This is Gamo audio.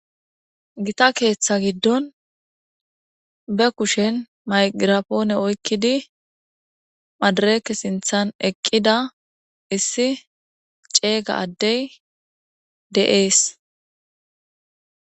Gita keeththa giddon be kushen maygirapoone oykkidi madireeke sinththan eqqida issi ceega addey de'es.